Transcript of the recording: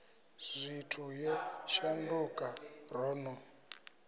zwithu yo shanduka ro no